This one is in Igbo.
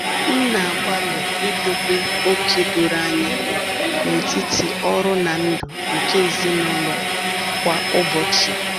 M na-agbalị idobe oke doro anya n’etiti ọrụ na ndụ nke ezinụlọ kwa ụbọchị.